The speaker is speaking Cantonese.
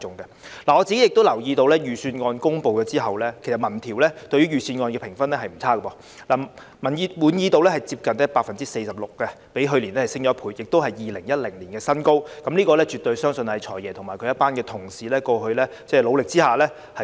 我留意到預算案公布之後，民調對於預算案的評分並不差，市民滿意度接近 46%， 較去年上升1倍，而且是2010年以來的新高，相信絕對是"財爺"和他的同事過去付出努力的成果。